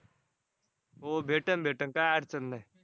हो भेटन भेटन काय अडचण नाही.